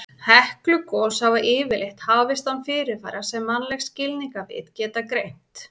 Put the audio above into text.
Heklugos hafa yfirleitt hafist án fyrirvara sem mannleg skilningarvit geta greint.